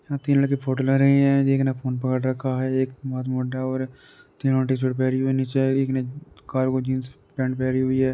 यहाँ तीन लड़के फोटो ले रहे हैं। एक ने फोन पकड़ रखा है। एक मोछमुंडा और एक तीनो टी शर्ट पहनी हुई नीचे। एक ने कार्गो जिन्स पैंट पहनी हुई है।